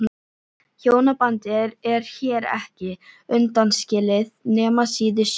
Hjónabandið er hér ekki undanskilið nema síður sé.